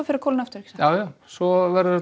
að kólna aftur svo verður þetta